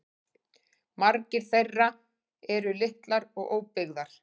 Margar þeirra eru litlar og óbyggðar